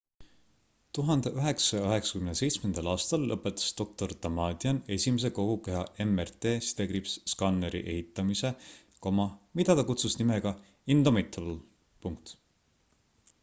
1997 aastal lõpetas dr damadian esimese kogu keha mrt-skanneri ehitamise mida ta kutsus nimega indomitable